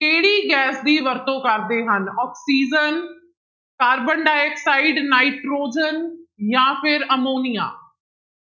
ਕਿਹੜੀ ਗੈਸ ਦੀ ਵਰਤੋਂ ਕਰਦੇ ਹਨ ਆਕਸੀਜਨ ਕਾਰਬਨ ਡਾਇਆਕਸਾਇਡ, ਨਾਇਟ੍ਰੋਜਨ ਜਾਂ ਫਿਰ ਅਮੋਨੀਆ